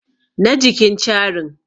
na jikin carin